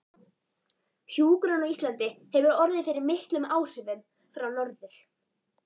Hjúkrun á Íslandi hefur orðið fyrir miklum áhrifum frá Norður